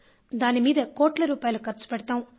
దాని మీద కోట్ల రూపాయలు ఖర్చు పెడతాం